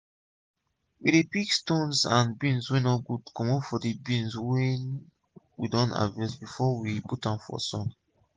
we dey pick stones and d beans wey no good comot from d beans wey we don harvest before we put am for sun.